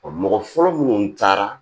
mɔgɔ fɔlɔ minnu taara